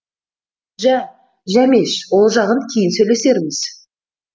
жә жәмеш ол жағын кейін сөйлесерміз